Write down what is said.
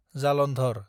Jalandhar